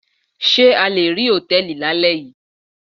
Ṣé a le rí Hòtẹ́lìì lálẹ́ yìí.